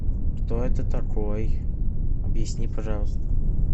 кто это такой объясни пожалуйста